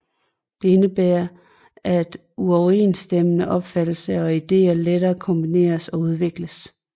Det indebærer at uoverensstemmende opfattelser og idéer lettere kombineres og udvikles